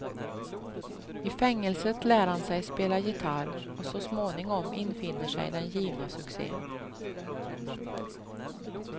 I fängelset lär han sig spela gitarr och så småningom infinner sig den givna succen.